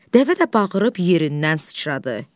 Dəvə də bağırıb yerindən sıçradı.